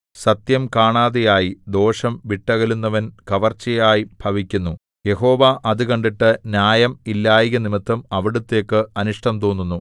സത്യം കാണാതെയായി ദോഷം വിട്ടകലുന്നവൻ കവർച്ചയായി ഭവിക്കുന്നു യഹോവ അത് കണ്ടിട്ട് ന്യായം ഇല്ലായ്കനിമിത്തം അവിടുത്തേക്കു അനിഷ്ടം തോന്നുന്നു